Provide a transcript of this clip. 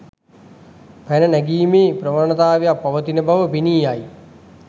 පැන නැගීමේ ප්‍රවණතාවක් පවතින බව පෙනී යයි.